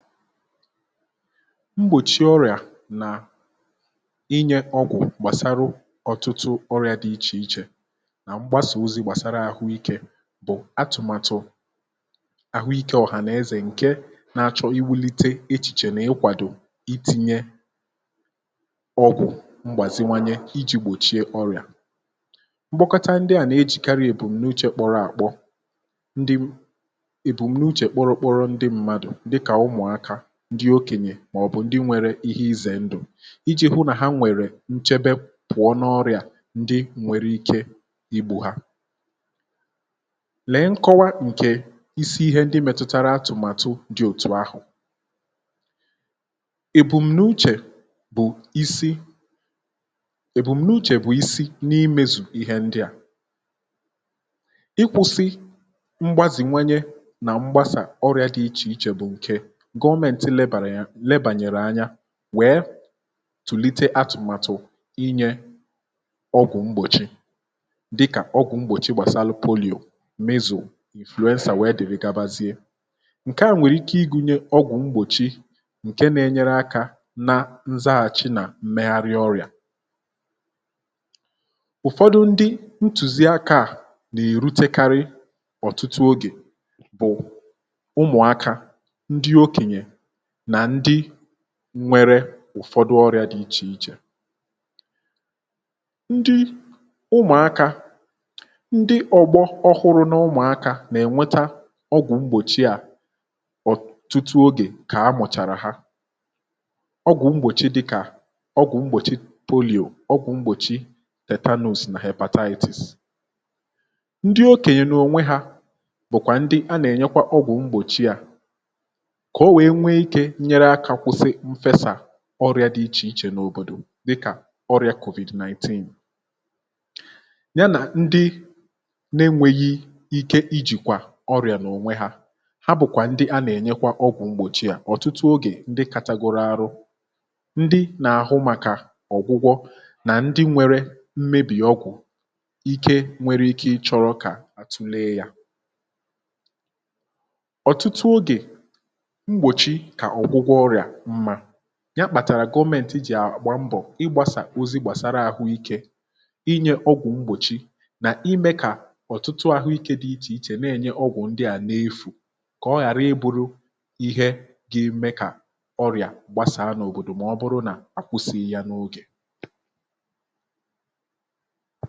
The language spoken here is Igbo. mgbòchie ọrịà nà inye ọgwụ̀ gbàsara ọtụtụ ọrịà dị ichè ichè nà mgbasà ozi gbàsara àhụikė bụ̀ atụ̀matụ àhụikė ọ̀hà nà-ezè ǹke na-achọ iwulite echìchè nà ịkwàdò itinye ọgwụ̀ mgbàziwanye iji̇ gbòchie ọrịà ,mkpokọta ndịà na-ejìkarịrị èbùm na uchè kpọrọ àkpọ ndị èbùm na uchè kpụrụ kpụrụ ndị mmadụ̀ ndị okènyè màọ̀bụ̀ ndị nwere ihe izè ndụ̀ iji̇ hụ nà ha nwèrè nchebe pụ̀ọ n’ọrịà ndị nwere ike igbù ha lee nkọwa ǹkè isi ihe ndị mètụtara atụ̀màtụ dị òtù ahụ̀ èbùm̀nuchè bụ̀ isi èbùm̀nuchè bụ̀ isi n’imezù ihe ndị à, ịkwụ̇sị mgbazìnwanye nà mgbasà ọrịà dị ichè ichè bụ̀ ǹke gọọmenti lebanyere anya wee tulite atụmatụ ịnye ọgwụ mgbochi dika ọgwụ mgbochi gbasara polio, mizu ,influensa wee dere gabazie, nkea nwereiki ịgụnye ọgwụ mgbochi nke na-enyere aka na nsaghachi na mmeghari ọrịa ụ̀fọdụ ndị ntùzi akȧ à nà-èrutekarị ọ̀tụtụ ogè bụ̀ ụmụ̀akȧ, ndị okènyè na ǹdị nwere ụ̀fọdụ ọrịa dị ichè ichè. ndị ụmụ̀akȧ, ndị ọ̀gbọ ọhụrụ n’ụmụ̀akȧ nà-ènweta ọgwụ̀ mgbòchi à ọ̀tụtụ ogè kà a mụ̀chàrà hȧ ọgwụ̀ mgbòchi dị kà ọgwụ̀ mgbòchi poliọ̀, ọgwụ̀ mgbòchi tetanus nà hebataitis ,ndị okènyè n’ònwe hȧ bụ̀kwà ndị a nà-ènyekwa ọgwụ̀ mgbòchi à ka onwee nweike ifecha ọrịa dị ichè ichè n’òbòdò dịkà ọrịa kòvido 19 ya nà ndị na-enwėghi ike ijìkwà ọrịà n’ònwe hȧ ha bụ̀kwà ndị a nà-ènyekwa ọgwụ̀ mgbòchi à ọ̀tụtụ ogè ndị kȧtagoro arụ ndị nà-àhụ màkà ọ̀gwụgwọ nà ndị nwere mmebì ọgwụ̀ ike nwere ike ị chọrọ kà àtụlee yȧ ọtụtụ oge, mgbochi ka ọgwụgwọ ọrịa mma ,ya kpàtàrà gọmenti jì àgba mbọ̀ ịgbȧsà ozi gbàsara àhụikė, inye ọgwụ̀ mgbòchi nà ime kà ọ̀tụtụ ahụ̀ ike dị ichè ichè na-ènye ọgwụ̀ ndị à n’efù kà ọ ghàra I buru ihe ga eme kà ọrịà gbasàa n’òbòdò ma ọ bụrụ nà a kwụsịghị yȧ n’ogè